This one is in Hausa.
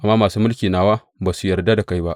Amma masu mulki nawa ba su yarda da kai ba.